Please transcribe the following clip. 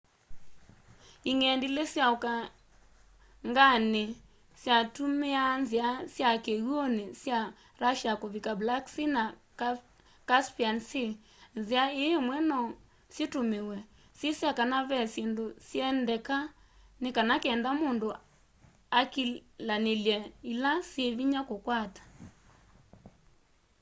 ing'endilĩ sya ũkanganĩni syatumiaa nzia sya kiwuni sya russia kuvika black sea na caspian sea nzia ii imwe no syitumiwe syisya kana ve syindu siendeka ni kenda mundu akilanilye ila syi vinya kukwata